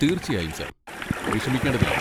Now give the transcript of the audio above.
തീർച്ചയായും സർ, വിഷമിക്കേണ്ടതില്ല.